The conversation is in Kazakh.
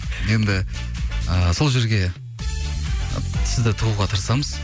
енді ыыы сол жерге сізді тығуға тырысамыз